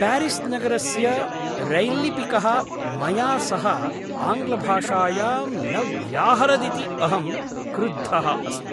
Paris नगरस्य रैल्लिपिकः मया सह आङ्ग्लभाषायां न व्याहरदिति अहं क्रुद्धः अस्मि।